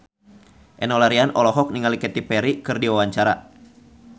Enno Lerian olohok ningali Katy Perry keur diwawancara